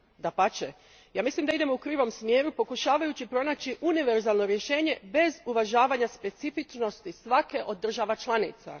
Dapače, ja mislim da idemo u krivom smjeru pokušavajući pronaći univerzalno rješenje, bez uvažavanja specifičnosti svake od država članica.